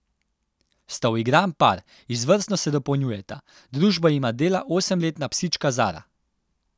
Sta uigran par, izvrstno se dopolnjujeta, družbo jima dela osemletna psička Zara.